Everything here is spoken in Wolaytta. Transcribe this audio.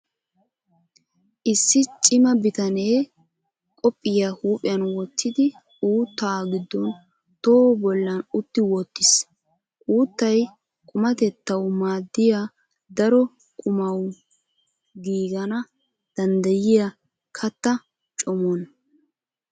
Issi cima bitanee qophiyaa huuphiyan wottidi uuttaa gidon toho bollan utti wottiis. Uuttay qumatetawu maadiyaa daro qommuwaan giigana danddayiyaa katta common.